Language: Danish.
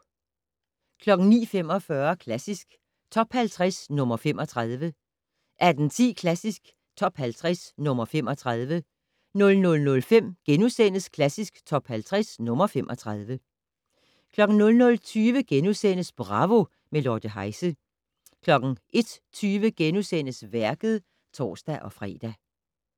09:45: Klassisk Top 50 - nr. 35 18:10: Klassisk Top 50 - nr. 35 00:05: Klassisk Top 50 - nr. 35 * 00:20: Bravo - med Lotte Heise * 01:20: Værket *(tor-fre)